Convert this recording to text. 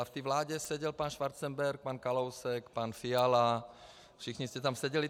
A v té vládě seděl pan Schwarzenberg, pan Kalousek, pan Fiala, všichni jste tam seděli.